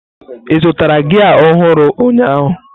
Ị zụtara gia ọhụrụ ụnyaahụ?